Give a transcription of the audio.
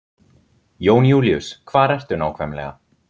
Jón Júlíus, hvar ertu nákvæmlega?